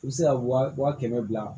I bɛ se ka wa kɛmɛ bila